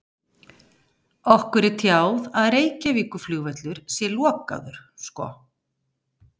Okkur er tjáð að Reykjavíkurflugvöllur sé lokaður sko.